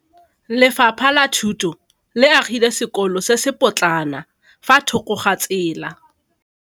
Lefapha la Thuto le agile sekôlô se se pôtlana fa thoko ga tsela.